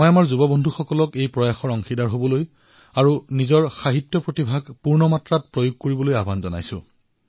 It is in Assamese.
মই আমাৰ যুৱ বন্ধুসকলক এই পদক্ষেপৰ অংশীদাৰ হবলৈ আৰু নিজৰ সাহিত্যিক কৌশল অধিক বিকশিত কৰিবলৈ আমন্ত্ৰণ জনাইছো